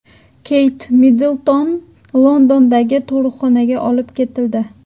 Keyt Middlton Londondagi tug‘uruqxonaga olib ketildi.